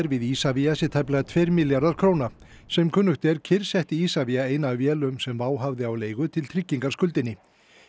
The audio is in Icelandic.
við Isavia sé tæplega tveir milljarðar króna sem kunnugt er kyrrsetti Isavia eina af vélunum sem WOW hafði á leigu til tryggingar skuldinni